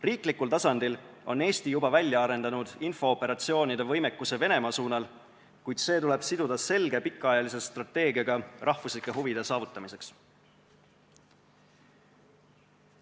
Riiklikul tasandil on Eesti juba välja arendanud infooperatsioonide võimekuse Venemaa suunal, kuid see tuleb siduda selge pikaajalise strateegiaga rahvuslike huvide saavutamiseks.